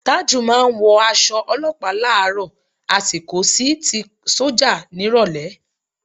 Tájù máa ń wọ aṣọ olọ́pàá láàárọ̀ á sì kó sí ti sọ́jà nírọ̀lẹ́